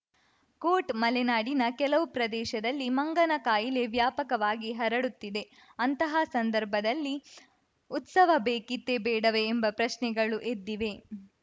coat ಮಲೆನಾಡಿನ ಕೆಲವು ಪ್ರದೇಶದಲ್ಲಿ ಮಂಗನ ಕಾಯಿಲೆ ವ್ಯಾಪಕವಾಗಿ ಹರಡುತ್ತಿದೆ ಅಂತಹ ಸಂದರ್ಭದಲ್ಲಿ ಉತ್ಸವ ಬೇಕಿತ್ತೆ ಬೇಡವೇ ಎಂಬ ಪ್ರಶ್ನೆಗಳು ಎದ್ದಿವೆ